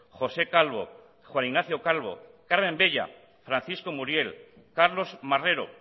josé calvo juan ignacio calvo carmen bella francisco muriel carlos marrero